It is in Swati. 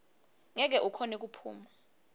ngeke ukhone kuphuma